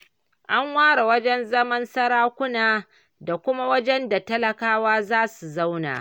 An ware wajen zaman sarakuna, da kuma wajen da talakawa za su zauna.